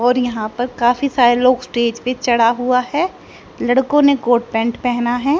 और यहां पर काफी सारे लोग स्टेज पे चढ़ा हुआ है लड़कों ने कोट पैंट पहना है।